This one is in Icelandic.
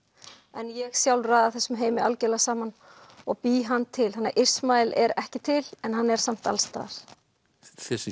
en ég sjálf raða þessum heimi algerlega saman og bý hann til þannig að Ísmael er ekki til en hann er samt alls staðar þessi